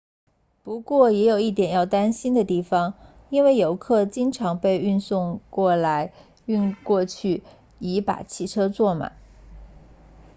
不过也有一点要担心的地方因为游客经常被运过来运过去以把汽车坐满